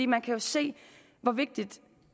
man kan jo se hvor vigtigt